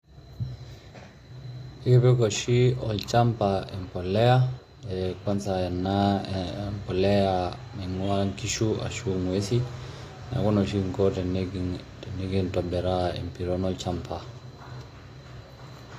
Ipik oshi olchamba embolea kwanza ena polea naing'ua nkishu ashu ng'uesi, neeku ina oshi kinko tenikintobiraa empiron olchamba.